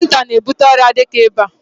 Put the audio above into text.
Anwụnta na-ebute ọrịa dịka ịba.